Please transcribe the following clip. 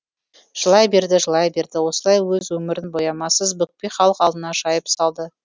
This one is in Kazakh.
жылай берді жылай берді осылай өз өмірін боямасыз бүкпей халық алдына жайып салды